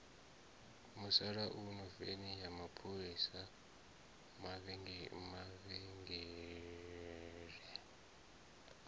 musalauno veni ya mapholisa mavhengele